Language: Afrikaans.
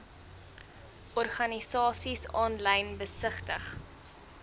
organisasies aanlyn besigtig